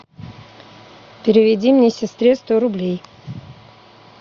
переведи мне сестре сто рублей